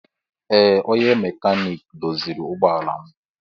Ee onye mekaniki doziri ụgbọ ala m.